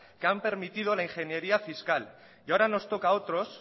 que han permitido la ingeniería fiscal y ahora nos toca a otros